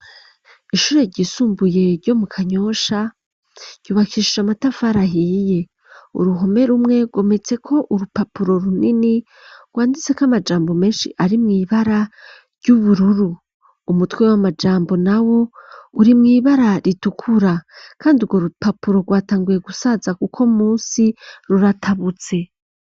Ishure ryisumbuye ryo mu kanyosha ryubakishije amatafari ahiye uruhome rumwe rwometse ko urupapuro runini rwanditse ko amajambo menshi ari mw'ibara ry'ubururu umutwe w'amajambo na wo uri mw'ibara ritukura kandi urwo rupapuro rwatanguye gusaza kuko munsi ruratabutse.